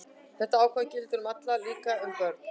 Þetta ákvæði gildir um alla, líka um börn.